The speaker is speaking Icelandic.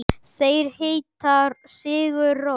Þeir heita Sigur Rós.